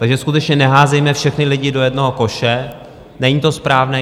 Takže skutečně neházejme všechny lidi do jednoho koše, není to správné.